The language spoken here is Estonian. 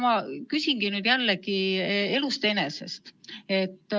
Mu küsimus tuleneb jälle elust enesest.